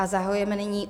A zahajujeme nyní